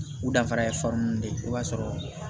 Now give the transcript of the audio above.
U danfara ye fɛn ninnu de ye o b'a sɔrɔ